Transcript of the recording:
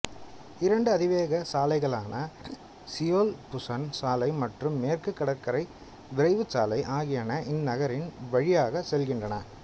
இரண்டு அதிவேக சாலைகளான சியோல்புஸன் சாலை மற்றும் மேற்குக் கடற்கரைச் விரைவுச்சாலை ஆகியன இந்நகரின் வழியாகச் செல்கின்றன